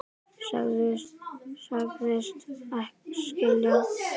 Sagðist skilja.